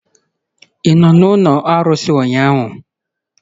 Ị nọ n'ụlọ arụsị ụnyahụ?